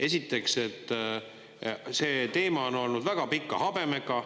Esiteks, et see teema on olnud väga pika habemega.